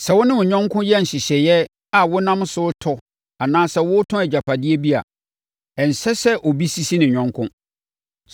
“ ‘Sɛ wo ne wo yɔnko yɛ nhyehyɛeɛ a wonam so retɔ anaa woretɔn agyapadeɛ bi a, ɛnsɛ sɛ obi sisi ne yɔnko.